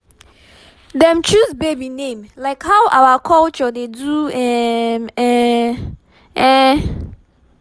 dem choose baby name like how our culture dey do m m um